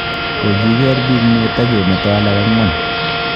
Kogiker biik muut ak ke meto alak ang'wan